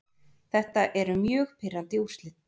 Þetta eru mjög pirrandi úrslit.